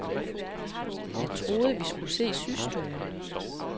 Jeg troede, at vi skulle se systuen.